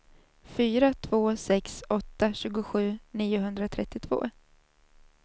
fyra två sex åtta tjugosju niohundratrettiotvå